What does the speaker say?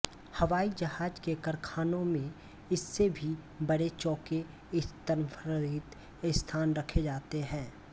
हवाई जहाज के कारखानों में इससे भी बड़े चौके स्तंभरहित स्थान रखे जाते हैं